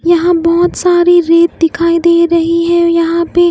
यहां बहुत सारी रेत दिखाई दे रही है यहां पे--